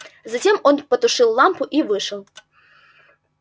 затем он потушил лампу и вышел